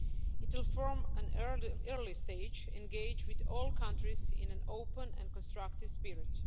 It will, from an early stage, engage with all countries in an open and constructive spirit.